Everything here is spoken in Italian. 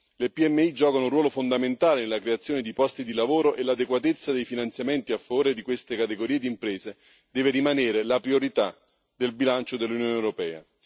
Le PMI giocano un ruolo fondamentale nella creazione di posti di lavoro, e l'adeguatezza dei finanziamenti a favore di questa categoria di imprese deve rimanere la priorità del bilancio dell'Unione europea.